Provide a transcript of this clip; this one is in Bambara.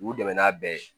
U dɛmɛ n'a bɛɛ ye